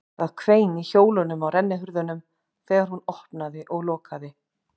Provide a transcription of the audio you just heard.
Það hvein í hjólunum á rennihurðunum þegar hún opnaði og lokaði